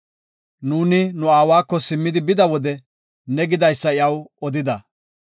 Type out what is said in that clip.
Nuuni nu aawako simmidi bida wode ne gidaysa iyaw odida.